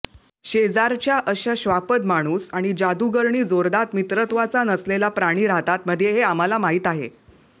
शेजारच्या अशा श्वापदमाणूस आणि जादुगरणी जोरदार मित्रत्वाचा नसलेला प्राणी राहतात मध्ये हे आम्हाला माहीत आहे